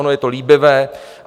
Ono je to líbivé.